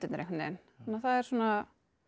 einhvern veginn þannig að það er svona